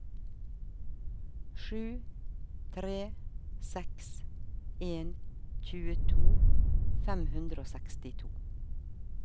sju tre seks en tjueto fem hundre og sekstito